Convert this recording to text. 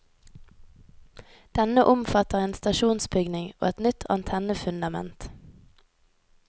Denne omfatter en stasjonsbygning og et nytt antennefundament.